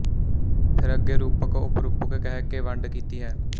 ਫਿਰ ਅੱਗੇ ਰੂਪਕ ਉਪਰੂਪਕ ਕਹਿ ਕੇ ਵੰਡ ਕੀਤੀ ਹੈ